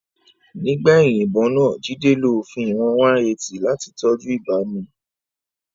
Nígbà ìyìnbọn náà, Jide lo òfin ìwọ̀n 180 láti tọ́jú ìbámu.